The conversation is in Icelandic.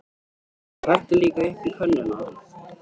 Og helltu líka upp á könnuna.